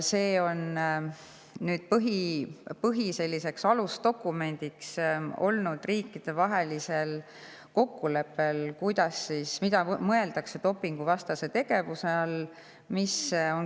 See on nüüd riikidevahelisel kokkuleppel olnud selline alusdokument,, mida mõeldakse dopinguvastase tegevuse all.